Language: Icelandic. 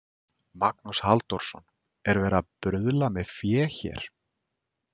Magnús Halldórsson: Er verið að bruðla með fé hér?